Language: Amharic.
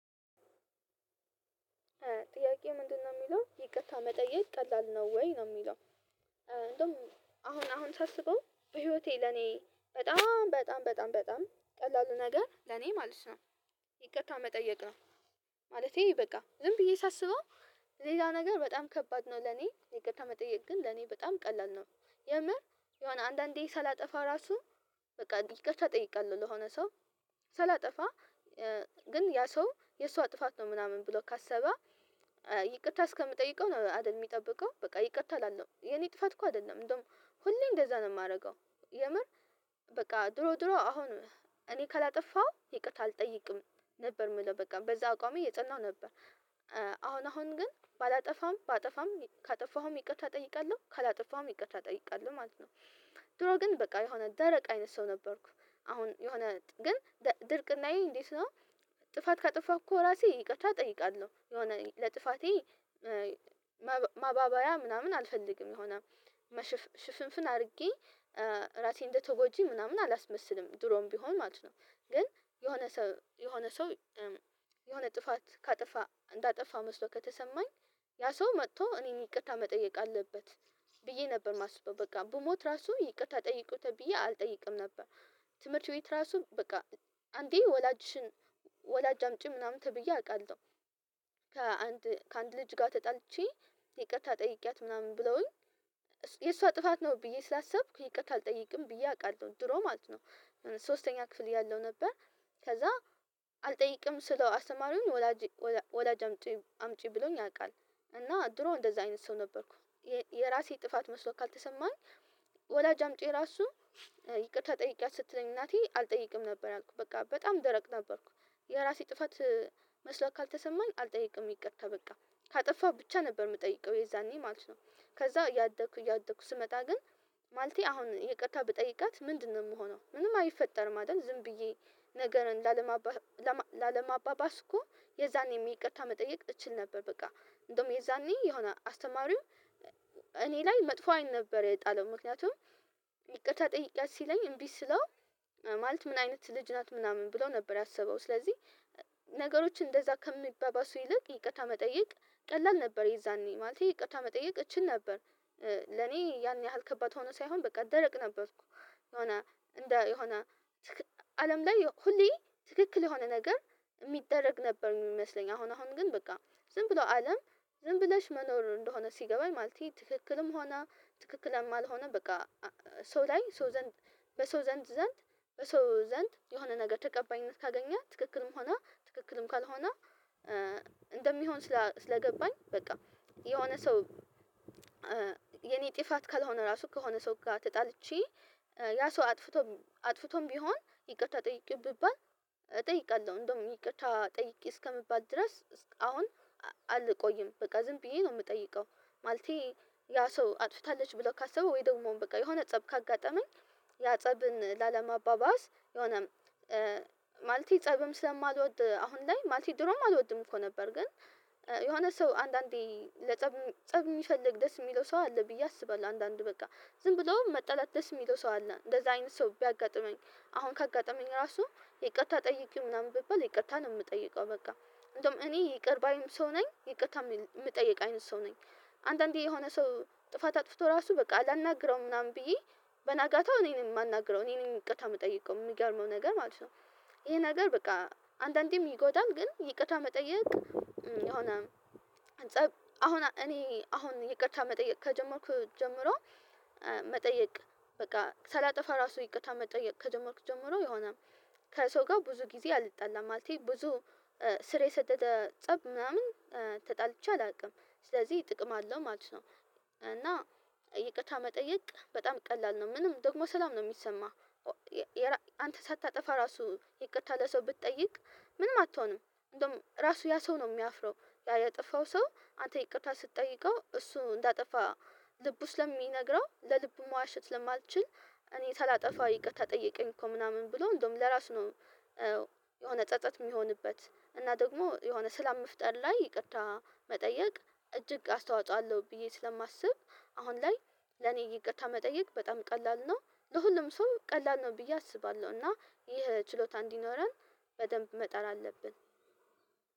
ጥያቄው ምንድነው የሚለው ይቅርታ መጠየቅ ቀላል ነው ወይ ነው የሚለው? እንደውም አሁን አሁን ሳስበው በህይወቴ ለኔ በጣም በጣም በጣም በጣም ቀላሉ ነገር ለኔ ማለት ነው። ይቅርታ መጠየቅ ነው። ማለቴ ነው በቃ ዝም ብዬ ሳስበው። ሌላ ነገር በጣም ከባድ ነው ለኔ ይቅርታ መጠየቅ ግን ለኔ በጣም ቀላል ነው። የምር የሆነ አንዳንዴ ሳላጠፋ ራሱ በቃ ይቅርታ ጠይቃለሁ ለሆነ ሰው ሳላጠፋ። ግን ያ ሰው የእሷ ጥፋት ነው ምናምን ብሎ ካሰበ ይቅርታ እስከምጠይቀው ነው። አይደል የሚጠብቀው በቃ ይቅርታ አላለም የኔ ጥፋት እኮ አይደለም እንደውም ሁሌ እንደዛ ነው የማደርገው። የምር በቃ ድሮ ድሮ አሁን እኔ ካላጠፋው ይቅርታ አልጠይቅም ነበር የምለው በቃ በዛ አቋም እየፀናሁ ነበር። አሁን አሁን ግን ባላጠፋም ባጠፋም ካጠፋሁም ይቅርታ እጠይቃለሁ ካላጠፋሁም ይቅርታ እጠይቃለሁ ማለት ነው። ድሮ ግን በቃ የሆነ ደረቅ አይነት ሰው ነበርኩ። አሁን የሆነ ግን ድርቅናዬ እንዴት ነው? ጥፋት ካጠፋሁ እኮ ራሴ ይቅርታ እጠይቃለሁ የሆነ ለጥፋቴ ማባበያ ምናምን አልፈልግም የሆነ ሽፍንፍን አድርጌ ራሴን እንደተጎጂ ምናምን አላስመስልም ድሮም ቢሆን ማለት ነው። ግን የሆነ ሰው የሆነ ሰው የሆነ ጥፋት ካጠፋ እንዳጠፋ መስሎ ከተሰማኝ ያ ሰው መጥቶ እኔን ይቅርታ መጠየቅ አለበት። ብዬ ነበር ማስበው በቃ ብሞት ራሱ ይቅርታ ጠይቁት ብዬ አልጠይቅም ነበር። ትምህርት ቤት ራሱ በቃ አንዴ ወላጅሽን ወላጅ አምጪ ምናምን ተብዬ አውቃለሁ። ከአንድ ከአንድ ልጅ ጋር ተጣልቼ ይቅርታ ጠይቄያት ምናምን ብለውኝ የእሷ ጥፋት ነው ብዬ ስላሰብኩ ይቅርታ አልጠይቅም ብዬ አውቃለሁ ድሮ ማለት ነው። ሶስተኛ ክፍል እያለው ነበር ከዛ አልጠይቅም ስለው አስተማሪውን ወላጅ ወላጅ አምጪ ብሎኝ ያውቃል እና ድሮ እንደዛ አይነት ሰው ነበርኩ። የራሴ ጥፋት መስሎ ካልተሰማኝ ወላጅ አምጥቼ ራሱ ይቅርታ ጠይቄያት ስትለኝ እናቴ አልጠይቅም ነበር ያልኩት በቃ በጣም ደረቅ ነበርኩ። የራሴ ጥፋት መስሎ ካልተሰማኝ አልጠይቅም ይቅርታ ከበቃ ካጠፋሁ ብቻ ነበር የምጠይቀው የዛኔ ማለት ነው። ከዛ እያደኩ እያደኩ ስመጣ ግን ማለቴ አሁን ይቅርታ ብጠይቃት ምንድነው የምሆነው ምንም አይፈጠርም አይደል ዝም ብዬ ነገርን ላለማባ ላለማባባስ እኮ የዛኔም ይቅርታ መጠየቅ እችል ነበር በቃ። እንደውም የዛኔ የሆነ አስተማሪው እኔ ላይ መጥፎ አይን ነበር የጣለው ምክንያቱም ይቅርታ ጠይቂያት ሲለኝ እምቢ ስለው ማለት ምን አይነት ልጅ ናት ምናምን ብሎ ነበር ያሰበው ስለዚህ ነገሮች እንደዛ ከሚባባሱ ይልቅ ይቅርታ መጠየቅ ቀላል ነበር የዛኔ ማለቴ ይቅርታ መጠየቅ እችል ነበር። ለኔ ያን ያህል ከባድ ሆኖ ሳይሆን በቃ ደረቅ ነበርኩ። የሆነ እንደ የሆነ አለም ላይ ሁሌ ትክክል የሆነ ነገር የሚደረግ ነበር የሚመስለኝ አሁን አሁን ግን በቃ ዝም ብሎ አለም ዝም ብለሽ መኖር እንደሆነ ሲገባኝ ማለት ትክክልም ሆነ ትክክል አልሆነም በቃ። ሰው ላይ ሰው ዘንድ በሰው ዘንድ ዘንድ በሰው ዘንድ የሆነ ነገር ተቀባይነት ካገኘህ ትክክልም ሆና ትክክልም ካልሆነ እንደሚሆን ስለገባኝ በቃ። የሆነ ሰው የኔ ጥፋት ካልሆነ ራሱ ከሆነ ሰው ጋር ተጣልቼ ያ ሰው አጥፍቶም አጥፍቶም ቢሆን ይቅርታ ጠይቄው ቢባል እጠይቃለሁ እንደውም ይቅርታ ጠይቄ እስከምባል ድረስ አሁን አልቆይም በቃ ዝም ብዬ ነው የምጠይቀው። ማለቴ ያ ሰው አጥፍታለች ብለው ካሰቡ ወይ ደግሞ በቃ የሆነ ፀብ ካጋጠመኝ ያ ፀብን ለአለማባባስ የሆነ ማለቴ ፀብም ስለማልወድ አሁን ላይ ማለቴ ድሮም አልወድም እኮ ነበር ግን። የሆነ ሰው አንዳንዴ ለፀብ ፀብ የሚፈልግ ደስ የሚለው ሰው አለ ብዬ አስባለሁ አንዳንድ በቃ ዝም ብሎ መጣለት ደስ የሚለው ሰው አለ እንደዚህ አይነት ሰው ቢያጋጥመኝ አሁን ካጋጠመኝ ራሱ ይቅርታ ጠይቂው ምናምን ብባል ይቅርታ ነው የምጠይቀው በቃ እንደውም እኔ ይቅር ባይም ሰው ነኝ ይቅርታ የምጠይቅ አይነት ሰው ነኝ። አንዳንዴ የሆነ ሰው ጥፋት አጥፍቶ ራሱ በቃ አላናግረውም ምናምን ብዬ በንጋታው እኔን የማናግረው እኔን ይቅርታ የምጠይቀው የሚገርመው ነገር ማለት ነው። ይሄ ነገር በቃ አንዳንዴም ይጎዳል ግን ይቅርታ መጠየቅ የሆነ ፀብ አሁን እኔ አሁን ይቅርታ መጠየቅ ከጀመርኩ ጀምሮ። መጠየቅ በቃ ሳላጠፋ ራሱ ይቅርታ መጠየቅ ከጀመርኩ ጀምሮ የሆነ ከሰው ጋር ብዙ ጊዜ አልጣላም ማለቴ ብዙ ስር የሰደደ ፀብ ምናምን ተጣልቼ አላውቅም ስለዚህ ጥቅም አለው ማለት ነው። እና ይቅርታ መጠየቅ በጣም ቀላል ነው ምንም ደግሞ ሰላም ነው የሚሰማህ። አንተ ሳታጠፋ ራሱ ይቅርታ ለሰው ብትጠይቅ ምንም አትሆንም እንደውም ራሱ ያ ሰው ነው የሚያፍረው ያልጠፋው ሰው አንተ ይቅርታ ስትጠይቀው እሱ እንዳጠፋ ልቡ ስለሚነግረው ለልቡ መዋሸት ስማይችል እኔ ሳላጠፋ ይቅርታ ጠየቀኝ እኮ ምናምን ብሎ እንደውም ለራሱ ነው። የሆነ ፀፀት የሚሆንበት እና ደግሞ የሆነ ስላም መፍጠር ላይ ይቅርታ መጠየቅ እጅግ አስተዋጽኦ አለው ብዬ ስለማስብ አሁን ላይ ለኔ ይቅርታ መጠየቅ በጣም ቀላል ነው። ለሁሉም ሰው ቀላል ነው ብዬ አስባለሁ። እና ይህ ችሎታ እንዲኖረን በደንብ መጣር አለብን።